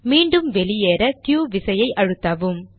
மீண்டும் வெளியேற க்யூ விசையை அழுத்தவும்